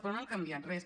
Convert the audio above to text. però no han canviat res